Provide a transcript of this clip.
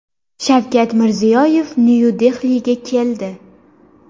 Shavkat Mirziyoyev Nyu-Dehliga keldi.